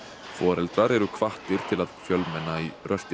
foreldrar eru hvattir til að fjölmenna í